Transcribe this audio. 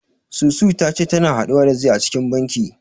Susu ta ce tana haɗuwa da zee a cikin banki.